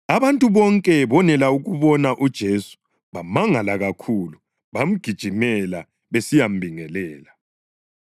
Abantu bonke bonela ukubona uJesu bamangala kakhulu bamgijimela besiyambingelela.